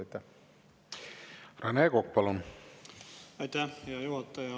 Aitäh, hea juhataja!